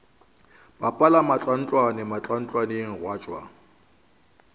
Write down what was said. bapala mantlwantlwane mantlwantlwaneng gwa tšwa